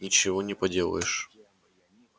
ничего не поделаешь